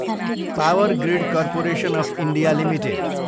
power grid corporation of India Ltd